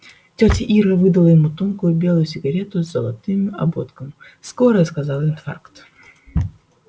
тётя ира выдала ему тонкую белую сигарету с золотым ободком скорая сказала инфаркт